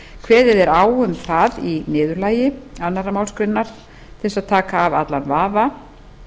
kveðið er á um það í niðurlagi annarri málsgrein til þess að taka af allan vafa